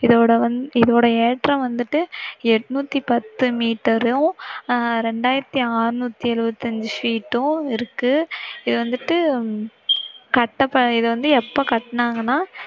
இதோட வந்~இதோடய ஏற்றம் வந்திட்டு எண்ணூற்று பத்து மீட்டரும் அஹ் இரண்டாயிரத்தி அறுநூற்ற்ய் எழுப்பத்தி ஐந்து sheet உம் இருக்கு, இது வந்திட்டு கட்ட, இத எப்போ கட்டினாங்கண்ணா